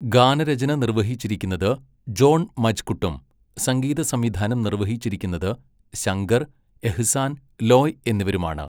ഗാനരചന നിർവ്വഹിച്ചിരിക്കുന്നത് ജോൺ മജ്കുട്ടും സംഗീതസംവിധാനം നിർവ്വഹിച്ചിരിക്കുന്നത് ശങ്കർ, എഹ്സാൻ, ലോയ് എന്നിവരുമാണ്.